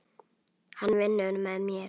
Hann vinnur með mér.